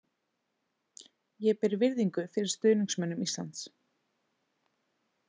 Ég ber virðingu fyrir stuðningsmönnum Íslands.